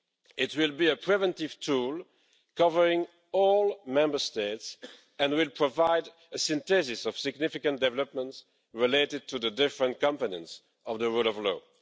It will be a preventive tool covering all Member States and will provide a synthesis of significant developments related to the different components of the rule of law.